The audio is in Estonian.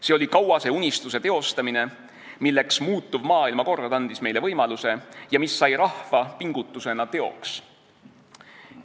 See oli kauase unistuse teostamine, milleks muutuv maailmakord andis meile võimaluse ja mis sai rahva pingutusena teoks.